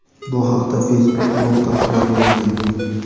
Bu haqda Facebook blogida xabar berilgan.